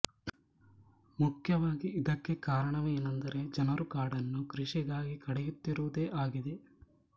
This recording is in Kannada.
ಮುಖ್ಯವಾಗಿ ಇದಕ್ಕೆ ಕಾರಣವೇನೆಂದರೆ ಜನರು ಕಾಡನ್ನು ಕೃಷಿಗಾಗಿ ಕಡಿಯುತ್ತಿರುವುದೇ ಆಗಿದೆ